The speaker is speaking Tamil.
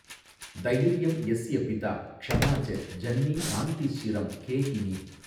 தைர்யம் யஸ்ய பிதா க்ஷமா ச ஜன்னீ சாந்திஸ்சிரம் கேஹினீ